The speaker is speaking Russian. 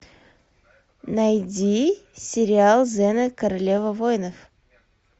найди сериал зена королева воинов